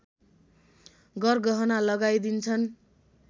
गरगहना लगाई दिन्छन्